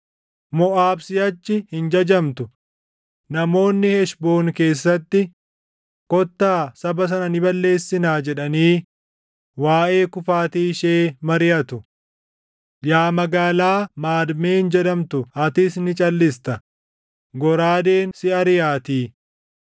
Moʼaab siʼachi hin jajamtu; namoonni Heshboon keessatti, ‘Kottaa saba sana ni balleessinaa’ // jedhanii waaʼee kufaatii ishee mariʼatu. Yaa magaalaa Maadmeen jedhamtu atis ni calʼista; goraadeen si ariʼaatii.